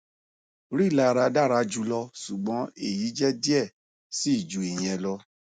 rilara dara julọ ṣugbọn eyi jẹ diẹ sii ju iyẹn lọ